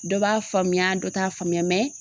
Dɔ b'a faamuya dɔ t'a faamuya